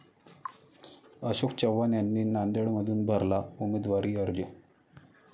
अशोक चव्हाण यांनी नांदेडमधून भरला उमेदवारी अर्ज